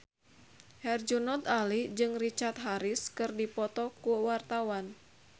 Herjunot Ali jeung Richard Harris keur dipoto ku wartawan